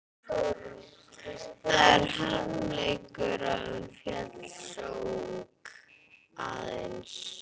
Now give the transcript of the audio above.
Það er harmleikur að hún féll svo ung, aðeins